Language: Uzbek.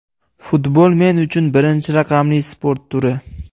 Futbol men uchun birinchi raqamli sport turi.